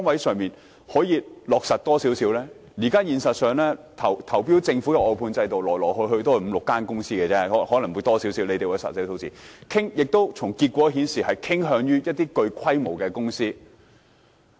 事實上，參與政府投標的外判公司來來去去也是那五六間公司——可能有更多，政府有實際的數字——從結果顯示，政府傾向一些具規模的公司。